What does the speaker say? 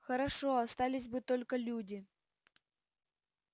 хорошо остались бы только люди